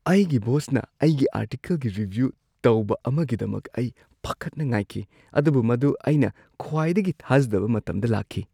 ꯑꯩꯒꯤ ꯕꯣꯁꯅ ꯑꯩꯒꯤ ꯑꯥꯔꯇꯤꯀꯜꯒꯤ ꯔꯤꯚ꯭ꯌꯨ ꯇꯧꯕ ꯑꯃꯒꯤꯗꯃꯛ ꯑꯩ ꯄꯥꯈꯠꯅ ꯉꯥꯏꯈꯤ, ꯑꯗꯨꯕꯨ ꯃꯗꯨ ꯑꯩꯅ ꯈ꯭ꯋꯥꯏꯗꯒꯤ ꯊꯥꯖꯗꯕ ꯃꯇꯝꯗ ꯂꯥꯛꯈꯤ꯫